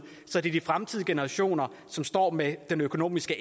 så det er de fremtidige generationer som står med den økonomiske